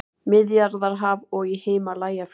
Miðjarðarhaf og í Himalajafjöllum.